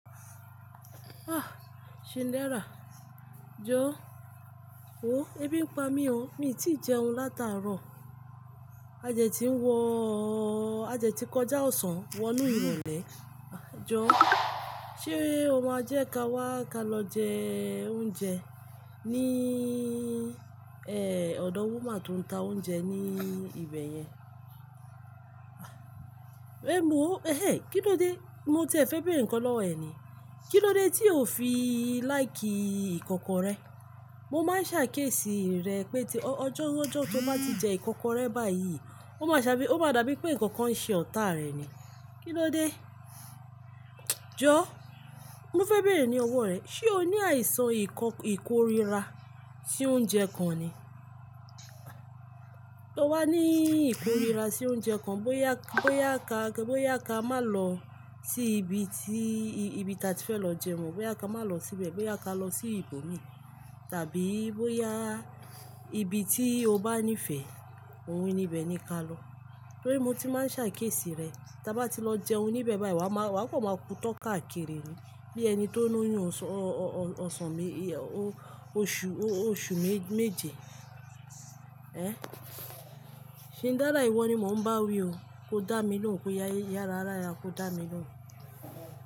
Ah! Shindara, jo. O, e bi n pa mi o, mi ti jeun lataro. A dẹ ti n wọ ọ, a dẹ ti koja osan wonu iróle. Jo, se o ma je ka wa ka lo je ounjẹ ni eh, ọdọ wuma ton n ta ounjẹ ni ibeyẹn. Emu o, ehe, kin lo de? Mo ti ẹ fẹ bere nkan lọwọ ẹ ni. Kin lo de ti o fi like ikọkọ rẹ? Mo ma n sàkiésì rẹ pe ti ọjọ, ọjọ to ma ti jẹ ikọkọrẹ bayi, o ma sabi, o ma dabi pe ňkan Kan n ṣe ọta rẹ ni. Kin lo de? Jo, mo fẹ bèèrè ni ọwọ rẹ, ṣe o ni aisan iko, ikorira si ounje kan ni? To wa ni ikorira si ounje kan, bo ya, bo ya ka, bo ya ka ma lọ si ibi ti, ibi ta ti fe lọ jẹun mo, bo ya ka ma lọ sibẹ, bo ya ka lọ si ibomi tabi bo ya ibi ti o ba nifẹ, ohún níbẹ ni ka lọ. Torí mo ti ma n sàkésì rẹ, ti a ba ti lọ jẹun níbẹ bayi, wa ma, wa kọ ma ku tọ kaakiri ni bi ẹni to ni yun osan, o-o-osan me, oṣu, oṣu meje. Eh? Shindara iwọ ni mo n ba wi o, ko dá mi lóhùn, ko ya yara ara rẹ, ko dá mi lóhùn.